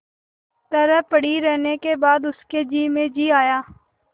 तरह पड़ी रहने के बाद उसके जी में जी आया